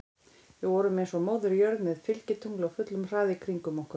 Við vorum eins og Móðir jörð með fylgitungl á fullum hraða í kringum okkur.